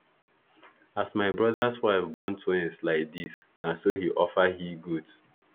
as my brothers wife born twins like this na so he offer hegoat